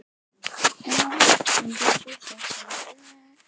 Ættarsaga guðanna er því um leið sköpunarsaga heimsins.